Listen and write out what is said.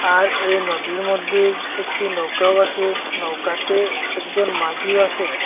আর এই নদীর মধ্যে একটি নৌকাও আসে নৌকাতে একজন মাঝিও আসে।